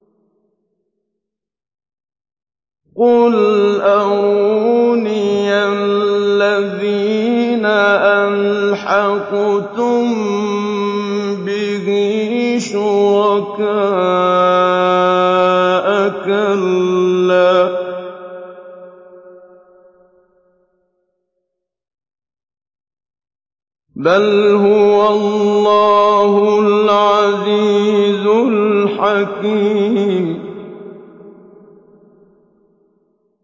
قُلْ أَرُونِيَ الَّذِينَ أَلْحَقْتُم بِهِ شُرَكَاءَ ۖ كَلَّا ۚ بَلْ هُوَ اللَّهُ الْعَزِيزُ الْحَكِيمُ